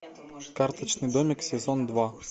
карточный домик сезон два